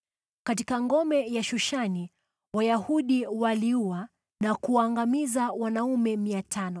Katika ngome ya Shushani Wayahudi waliua na kuangamiza wanaume 500.